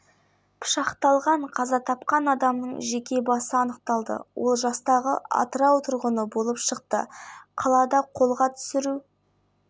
баспасөз қызметі мәлімдегендей ұсталушыдан пышақ табылған алдын ала дерек бойынша ол осы пышақпен адам өлтіруі мүмкін